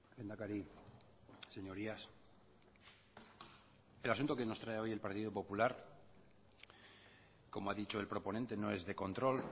lehendakari señorías el asunto que nos trae hoy el partido popular como ha dicho el proponente no es de control